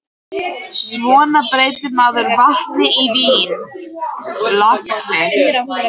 Svona breytir maður vatni í vín, lagsi.